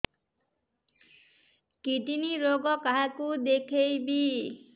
kidney ରୋଗ କାହାକୁ ଦେଖେଇବି